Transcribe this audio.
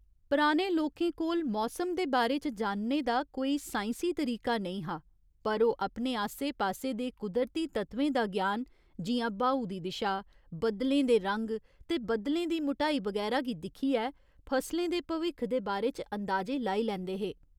पराने लोकें कोल मौसम दे बारे च जानने दा कोई साइंसी तरीका नेईं हा पर ओह् अपने आसे पासे दे कुदरती तत्वें दा ज्ञान, जि'यां ब्हाऊ दी दिशा, बद्दलें दे रंग ते बद्दलें दी मुटाई, बगैरा गी दिक्खियै फसलें दे भविक्ख दे बारे च अंदाजे लाई लैंदे हे।